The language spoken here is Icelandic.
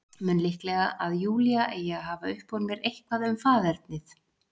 Mun líklegra að Júlía eigi að hafa upp úr mér eitthvað um faðernið.